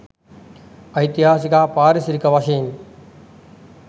ඓතිහාසික හා පාරිසරික වශයෙන්